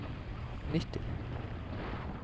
nitti